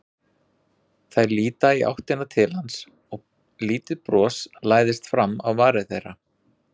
Þær líta í áttina til hans og lítið bros læðist fram á varir þeirra.